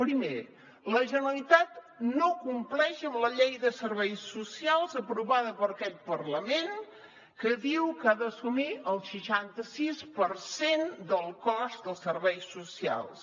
primer la generalitat no compleix amb la llei de serveis socials aprovada per aquest parlament que diu que ha d’assumir el seixanta sis per cent del cost dels serveis socials